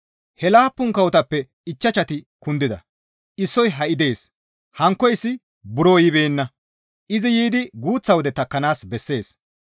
He laappun kawotappe ichchashati kundida; issoy ha7i dees. Hankkoyssi buro yibeenna; izi yiidi guuththa wode takkanaas bessees.